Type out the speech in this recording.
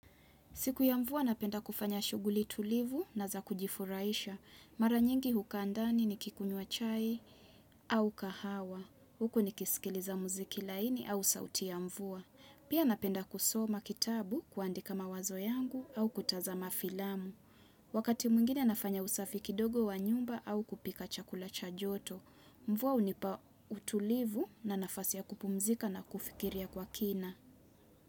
Siku ya mvua napenda kufanya shughuli tulivu na za kujifurahisha. Mara nyingi hukaa ndani nikikunywa chai au kahawa. Huku nikisikiliza muziki laini au sauti ya mvua. Pia napenda kusoma kitabu kuandika mawazo yangu au kutazama filamu. Wakati mwngine nafanya usafi kidogo wa nyumba au kupika chakula cha joto. Mvua hunipa utulivu na nafasi ya kupumzika na kufikiria kwa kina.